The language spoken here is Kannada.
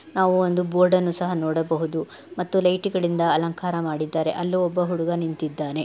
ನಾವು ಒಂದು ಬೋರ್ಡನ್ನು ಸಹ ನೋಡಬಹುದು ಮತ್ತು ಲೈಟು ಗಳಿಂದ ಅಲಂಕಾರ ಮಾಡಿದ್ದಾರೆ. ಅಲ್ಲಿ ಒಬ್ಬ ಹುಡುಗ ನಿಂತಿದ್ದಾನೆ.